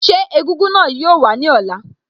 Ṣé egúngún náà yoo wá ní ọ̀la?